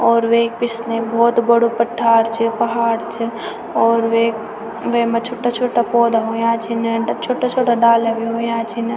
और वेक पिछने बहौत बडू पठार छ पहाड़ च और वेक वैमा छुट्टा-छुट्टा पौधा हुयां छिन छुट्टा-छुट्टा डाला भी हुयां छिन।